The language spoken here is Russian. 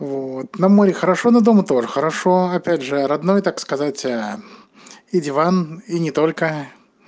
вот на море хорошо но дома тоже хорошо опять же родной так сказать и диван и не только